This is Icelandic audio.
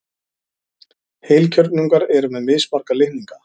Heilkjörnungar eru með mismarga litninga.